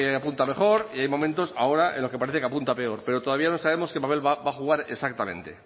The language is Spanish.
apunta mejor y hay momentos ahora en los que parece que apunta peor pero todavía no sabemos qué papel va a jugar exactamente